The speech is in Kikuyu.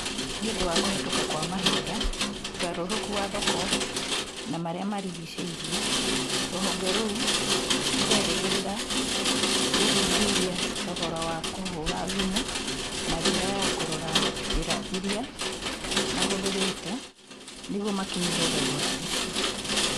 Nĩ ũndũ wa kũhetũka kwa mahinda, ũgarũrũku wa thoko na marĩa marigicĩirie, rũhonge rũu rũrerĩgĩrĩria gũthuthuria thogora wa kũhũra thimũ na njĩra ya kũrora njĩra ĩrĩa mahũthĩrĩte nĩguo makinyĩre thogora ũcio.